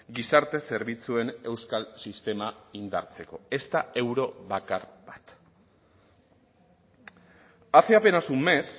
gizarte zerbitzuen euskal sistema indartzeko ezta euro bakar bat hace apenas un mes